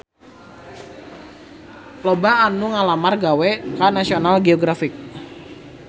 Loba anu ngalamar gawe ka National Geographic